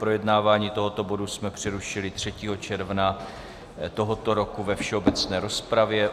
Projednávání tohoto bodu jsme přerušili 3. června tohoto roku ve všeobecné rozpravě.